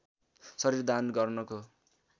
शरीर दान गर्नको